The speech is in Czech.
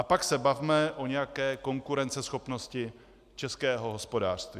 A pak se bavme o nějaké konkurenceschopnosti českého hospodářství.